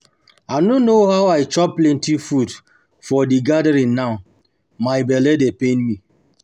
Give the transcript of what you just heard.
I no know how I chop plenty food for the gathering now my bele dey pain me